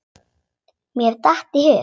Mér datt í hug.